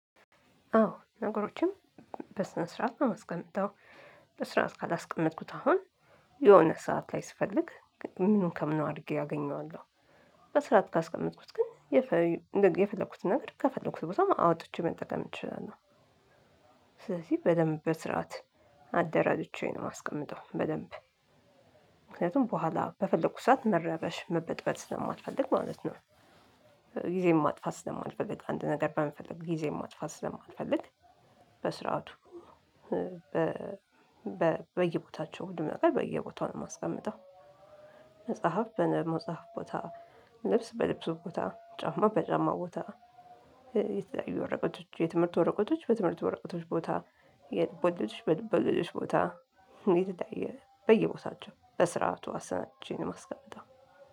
አዎ ነገሮችን በስነ ስርዓት ነው የማስቀምጠው። በስርዓት ካላስቀመጥኩት አሁን የሆነ ሰዓት ላይ ስፈልግ ምኑን ከምኑ አድርጌ አገኘዋለሁ በስራዓት ካስቀመጥኩት ግን የፈለኩትን ነገር ከፈለኩት ቦታ አውጥቼ መጠቀም እንችላለሁ። ስለዚህ በደንብ በስርዓት አደራጅቼ ነው የማስቀምጠው በደንብ ምክንያቱም በኋላ በፈለኩት ሰዓት መረበሽ መበጥበጥ ስለማልፈልግ ማለት ነው። ጊዜን ማጥፋት ስለማልፈልግ አንድ ነገር በመፈለግ ጊዜን ማጥፋት ስለማልፈልግ በስርዓቱ በየቦታቸው ሁሉ ነገር በየቦታው ነው የማስቀምጠው። መጽሐፍ በመጽሐፍ ቦታ ልብስ በልብስ ቦታ ጫማ በጫማ ቦታ የተለያዩ ወረቀቶች የትምህርት ወረቀቶች በትምህርት ወረቀቶች ቦታ የልብ ወለዶች በልብ ወለዶች ቦታ የተለያየ በየቦታቸው በስርዓቱ አሰናድቼ ነው የማስቀምጠው።